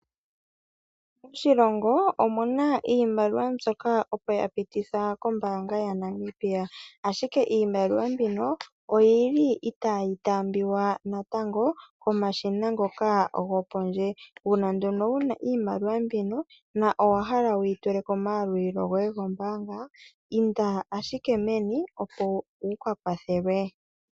Moshilongo omuna iimaliwa mbyoka opo ya pitithwa nuumvo kombaanga yaNamibia, ashike iimaliwa mbino oyili itaa yi taambiwa natango komashina ngoka gopondje. Uuna nduno wu na iimaliwa mbino na owahala wuyi tule kombaanga inda ashike meni opo wu ka kwathelwe.